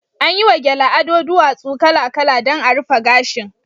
An yi wa gele ado duwatsu kala-kala dan a rufe gashin